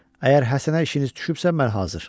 Əgər Həsənə işiniz düşübsə, mən hazır.